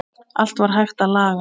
Allt var hægt að laga.